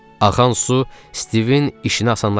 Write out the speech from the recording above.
Axan su Stivin işini asanlaşdırır.